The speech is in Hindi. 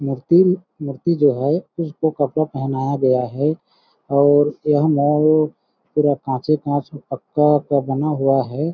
मूर्तिम मूर्ति जो है उसको कपड़ा पहनाया गया है और यह मॉल पूरा काँचॆ काँच पक्का का बना हुआ हैं ।